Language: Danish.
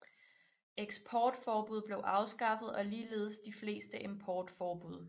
Eksportforbud blev afskaffet og ligeledes de fleste importforbud